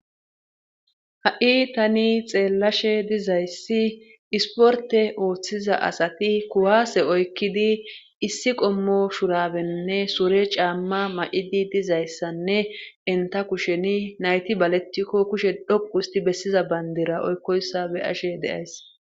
Ha7i tani xeellashe dizayssi isportte oothiza asati kuwaase oykkidi issi qommo shuraabenne sure caamma may7idi dizayssanne enta kusheni nayti balettikko kushe dhoqqu ustti bessiza banddira oykkossa be7ashe de7ays.